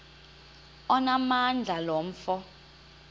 onamandla lo mfo